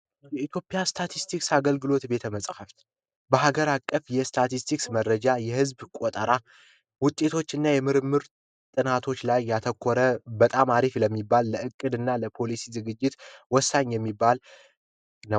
የኢትዮጵያ ስታስቲክስ ቤተመጻሕፍት በሀገር አቀፍ ስታስቲክስ መረጃ የህዝብ ቆጠራ ውጤቶች እና የምርምር ስራዎች ላይ ያተኮረ በጣም አሪፍ ለሚባል የዕቅድ እና ዝግጅት ወሳኝ ነው።